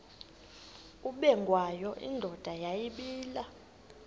ubengwayo indoda yayibile